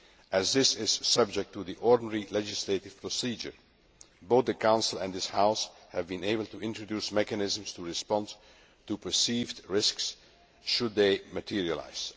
As this is subject to the ordinary legislative procedure, both the Council and this House have been able to introduce mechanisms for responding to perceived risks should they materialise.